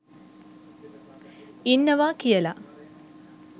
ඉන්නවා කියලා.